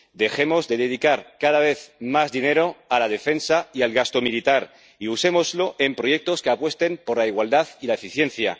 Dejemos de dedicar cada vez más dinero a la defensa y al gasto militar y usémoslo en proyectos que apuesten por la igualdad y la eficiencia.